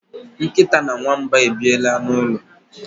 nkịta na nwamba ebiela n'ụlọ